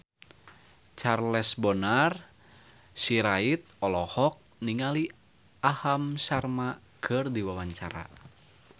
Charles Bonar Sirait olohok ningali Aham Sharma keur diwawancara